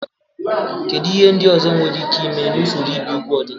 Kedu ihe ndị ọzọ nwere ike ime na usoro ibi úgwù ọdịnala?